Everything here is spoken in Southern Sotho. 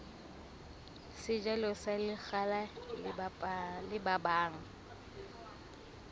sejalo sa lekgala le babang